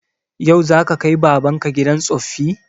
Yau za ka kai baban ka gidan tsoffi?